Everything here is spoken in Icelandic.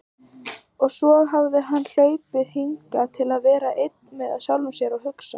Og svo hafði hann hlaupið hingað til að vera einn með sjálfum sér og hugsa.